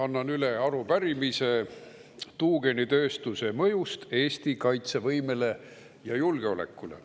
Annan üle arupärimise tuugenitööstuse mõju kohta Eesti kaitsevõimele ja julgeolekule.